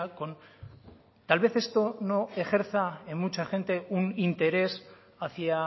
con tal vez esto no ejerza en mucha gente un interés hacia